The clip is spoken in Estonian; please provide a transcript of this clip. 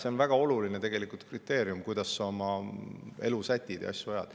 See, kuidas sa oma elu sätid ja asju ajad, on tegelikult väga oluline kriteerium.